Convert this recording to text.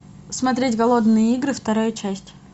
смотреть голодные игры вторая часть